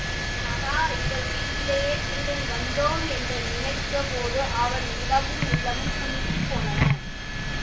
ஆகா இவள் வீட்டிலேயே திருடன் வந்தோம் என்று நினைத்த போது அவன் உடம்பும் உள்ளமும் குன்றிப் போனன